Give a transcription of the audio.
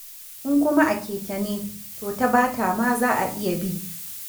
In kuma a keke ne to ta Bata ma za a iya bi.